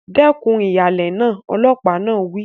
Dẹ́kun ìhàlẹ̀ náà! Ọlọ́pàá náà wí.